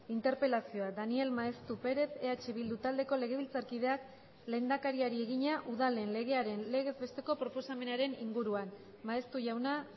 interpelazioa daniel maeztu perez eh bildu taldeko legebiltzarkideak lehendakariari egina udalen legearen legez besteko proposamenaren inguruan maeztu jauna